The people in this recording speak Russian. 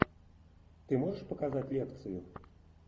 ты можешь показать лекцию